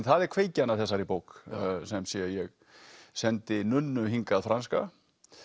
það er kveikjan að þessari bók sem sé að ég sendi hingað franska